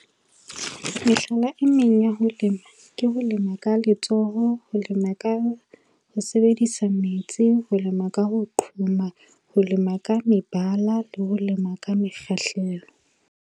Mehlala e meng ya ho lema, ke ho lema ka letsoho, ho lema ka ho sebedisa metsi, ho lema ka ho qhoma, ho lema ka mebala, le ho lema ka mekgahlelo.